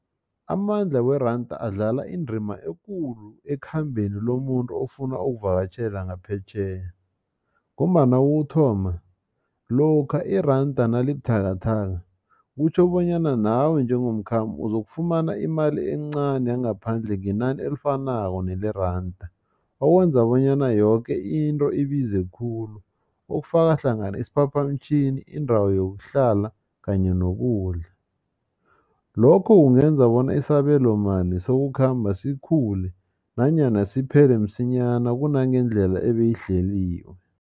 Amandla weranda adlala indima ekulu ekhambeni lomuntu ofuna ukuvakatjhela ngaphetjheya ngombana kokuthoma lokha iranda nalibuthakathaka kutjho bonyana nawe njengomkhambi uzokufumana imali encani yangaphandle ngenani elifanako nele randa. Okwenza bonyana yoke into ibize khulu okufaka hlangana isiphaphamtjhini indawo yokuhlala kanye nokudla. Lokho kungenza bona isabelo mali sokukhamba sikhule nanyana siphele msinyana kunangendlela ebeyihleliwe.